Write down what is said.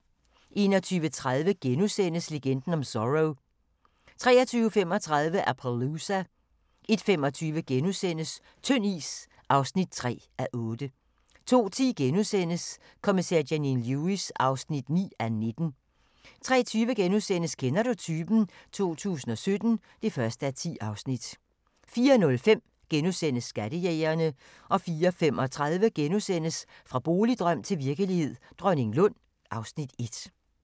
21:30: Legenden om Zorro * 23:35: Appaloosa 01:25: Tynd is (3:8)* 02:10: Kommissær Janine Lewis (9:19)* 03:20: Kender du typen? 2017 (1:10)* 04:05: Skattejægerne * 04:35: Fra boligdrøm til virkelighed – Dronninglund (Afs. 1)*